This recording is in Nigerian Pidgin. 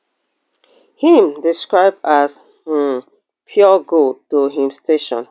im describe as um pure gold to im station